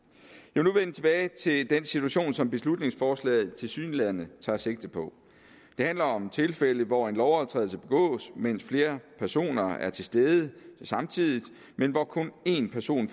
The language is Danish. nu vende tilbage til den situation som beslutningsforslaget tilsyneladende tager sigte på det handler om tilfælde hvor en lovovertrædelse begås mens flere personer er til stede samtidig men hvor kun én person